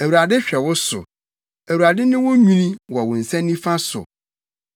Awurade hwɛ wo so; Awurade ne wo nwini wɔ wo nsa nifa so;